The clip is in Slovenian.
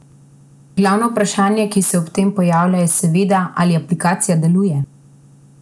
Glavno vprašanje, ki se ob tem pojavi, je seveda ali aplikacija deluje?